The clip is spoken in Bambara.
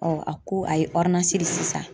Ɔ a ko a ye di sisan.